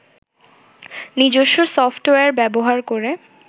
নিজস্ব সফ্টওয়্যার ব্যবহার করে